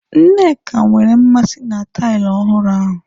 Nneka nwere mmasị na taịlị ọhụrụ ahu.